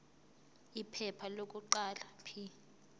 iphepha lokuqala p